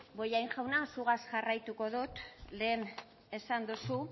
bollain jauna zugaz jarraitu dot lehen esan dozu